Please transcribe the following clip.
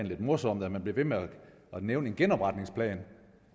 lidt morsomt at man bliver ved med at nævne en genopretningsplan